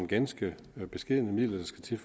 ganske beskedne midler der skal til